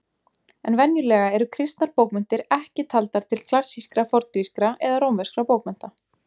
En venjulega eru kristnar bókmenntir ekki taldar til klassískra forngrískra eða rómverskra bókmennta.